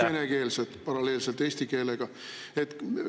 … siis on need kõik paralleelselt eesti keelega venekeelsed.